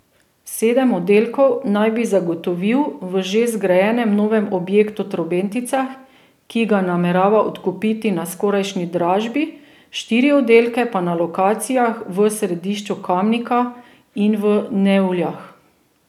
Sedem oddelkov naj bi zagotovil v že zgrajenem novem objektu Trobentica, ki ga namerava odkupiti na skorajšnji dražbi, štiri oddelke pa na lokacijah v središču Kamnika in v Nevljah.